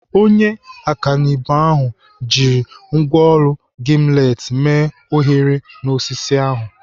Onye ọkanibo ahụ jirile ngwaọrụ gimlet mee oghere n'osisi ahụ.